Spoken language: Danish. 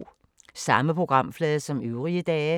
Samme programflade som øvrige dage